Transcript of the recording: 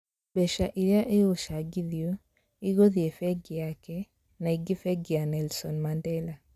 Mbeca irĩa igucangithwa igũthii beki yake na ciingĩ bengi ya Nelson Mandela